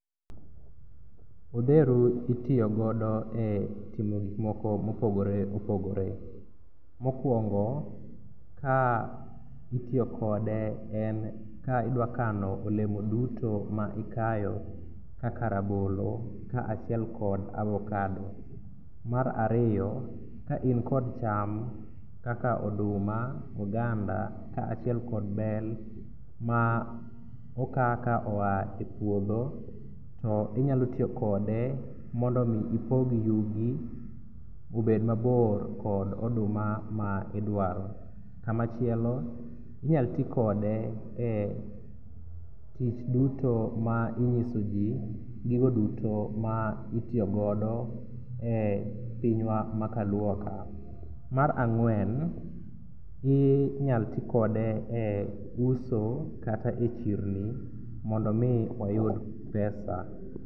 Odheru itiyogodo e timo gikmoko mopogore opogore. Mokwongo ka itiyokode en ka idwakano olemo duto ma ikayo kaka rabolo kaachiel kod avokado. Mar ariyo ka inkod cham kaka oduma, oganda kaachiel kod bel ma oka koa e puodho tinyalo tiyo kode mondo ipog yugi obed mabor kod oduma ma idwaro. Kamachielo inyal tikode e tich duto ma ing'iso ji gigo duto ma itiyogodo e pinywa ma kaluoka. Mar ang'wen inyal tikode e uso kata e chirni mondo omi wayud pesa.